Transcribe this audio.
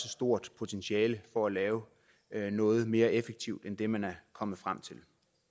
stort potentiale for at lave noget mere effektivt end det man er kommet frem til